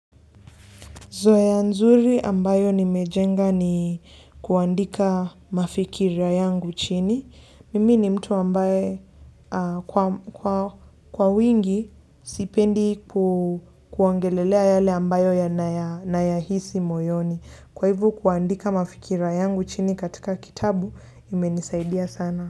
Zoya nzuri ambayo nimejenga ni kuandika mafikira yangu chini. Mimi ni mtu ambaye kwa wingi sipendi kuongelelea yale ambayo yana yahisi moyoni. Kwa hivo kuandika mafikira yangu chini katika kitabu imenisaidia sana.